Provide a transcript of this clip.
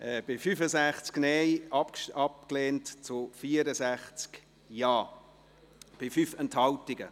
Er ist abgelehnt mit 65 Nein- gegen 64 JaStimmen bei 5 Enthaltungen.